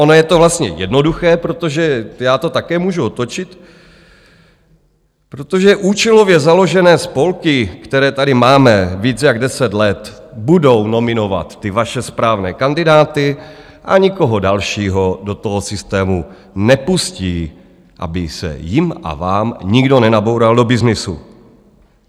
Ono je to vlastně jednoduché, protože já to také můžu otočit, protože účelově založené spolky, které tady máme více než deset let, budou nominovat ty vaše správné kandidáty a nikoho dalšího do toho systému nepustí, aby se jim a vám nikdo nenaboural do byznysu.